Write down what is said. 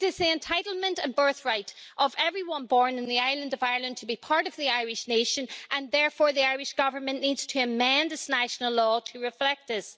It is the entitlement and birthright of everyone born on the island of Ireland to be part of the Irish nation and therefore the Irish Government needs to amend its national law to reflect this.